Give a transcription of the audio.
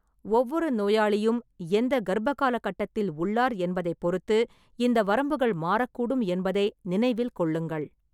ஒவ்வொரு நோயாளியும் எந்த கர்ப்பகாலக் கட்டத்தில் உள்ளார் என்பதைப் பொறுத்து இந்த வரம்புகள் மாறக்கூடும் என்பதை நினைவில் கொள்ளுங்கள்.